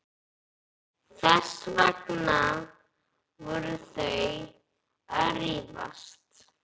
Þess vegna voru þau að rífast.